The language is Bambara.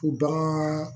U bagan